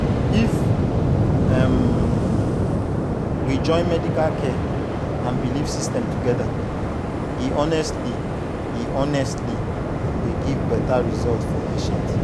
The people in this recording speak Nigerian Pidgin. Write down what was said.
if um we join medical care and belief system together e honestly e honestly dey give better result for patient.